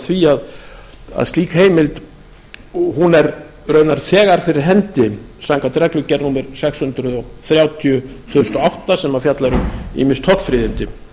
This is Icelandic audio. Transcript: því að slík heimild er raunar þegar fyrir hendi samkvæmt reglugerð númer sex hundruð þrjátíu tvö þúsund og átta sem fjallar um ýmis tollfríðindi